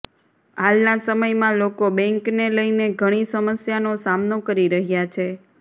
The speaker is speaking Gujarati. હાલના સમયમાં લોકો બેંકને લઈને ઘણી સમસ્યાનો સામનો કરી રહ્યા છે